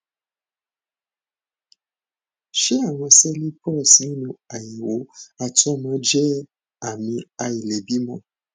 ṣé àwọn sẹẹli pus nínú àyẹwò àtọmọ jẹ ààmì àìlèbímọ